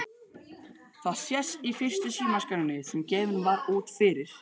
Það sést í fyrstu símaskránni sem gefin var út fyrir